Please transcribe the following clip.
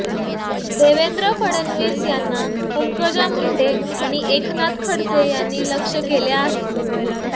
देवेंद्र फडणवीस यांना पंकजा मुंडे आणि एकनाथ खडसे यांनी लक्ष्य केले आहे